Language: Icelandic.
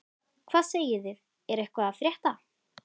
Hvað segið þið, er eitthvað að frétta?